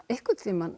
einhvern